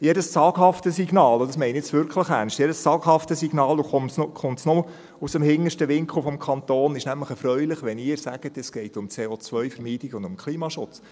Jedes zaghafte Signal – und dies meine ich jetzt wirklich ernst –, komme es aus dem hintersten Winkel des Kantons, ist nämlich erfreulich, wenn Sie sagen, es gehe um CO-Vermeidung und um Klimaschutz.